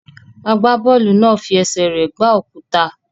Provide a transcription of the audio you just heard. Agbábọ́ọ̀lù náà fi ẹsẹ̀ rẹ̀ gbá òkúta.